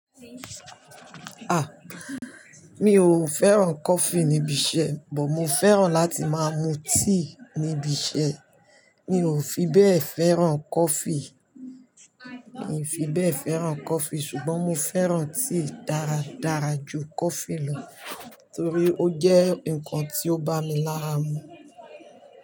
Aà! Mi ò fẹ́ràn coffee nibi iṣẹ́, but mo fẹ́ràn láti máa mu tíì nibi iṣẹ́. Mi ò fi bẹ́ẹ̀ fẹ́ràn coffee. Mi ò fi bẹ́ẹ̀ fẹ́ràn coffee ṣùgbọ́n mo fẹ́ràn tíì dáradára ju coffee lọ torí ó jẹ́ nǹkan tí ó bá mi lára mu.